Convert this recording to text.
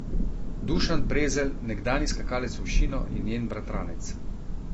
Dušan Prezelj, nekdanji skakalec v višino, je njen bratranec.